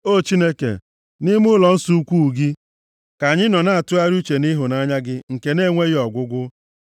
O Chineke, nʼime ụlọnsọ ukwuu gị, ka anyị nọ na-atụgharị uche nʼịhụnanya gị nke na-enweghị ọgwụgwụ.